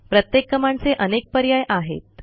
प्रत्येक कमांडचे अनेक पर्याय आहेत